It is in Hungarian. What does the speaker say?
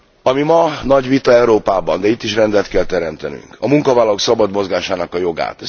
Ami ma nagy vita Európában, de itt is rendet kell teremtenünk, a munkavállalók szabad mozgásának joga.